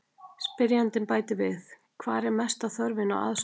Spyrjandi bætir við: Hvar er mesta þörfin á aðstoð?